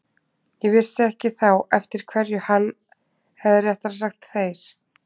Ég vissi ekki þá eftir hverju hann, eða réttara sagt þeir